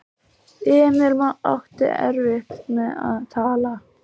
Emil átti erfitt með að tala.